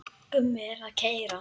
Gummi er að keyra.